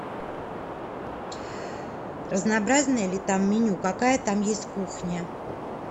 разнообразное ли там меню какая там есть кухня